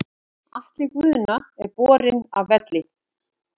Atli Guðna er borinn af velli.